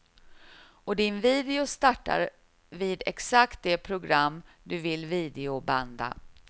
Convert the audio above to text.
Och din video startar vid exakt det program du vill videobanda.